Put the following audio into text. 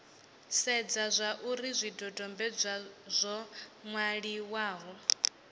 sedze zwauri zwidodombedzwa zwo nwaliwaho